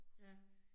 Ja